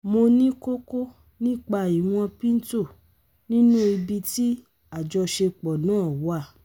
̀hun yóo lọ bẹ̀rẹ̀ awọn ìtọ́jú chemo ní ọ̀sẹ̀ tó ń bọ̀ kí ó kí ó lọ láti ibẹ̀